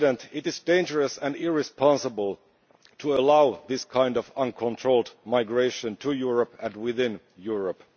It is dangerous and irresponsible to allow this kind of uncontrolled migration to Europe and within Europe.